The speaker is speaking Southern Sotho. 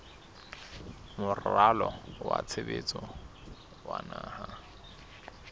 moralo wa tshebetso wa naha